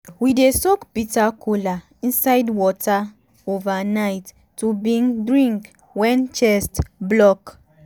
we dey soak bitter kola inside water overnight to bin drink wen chest block.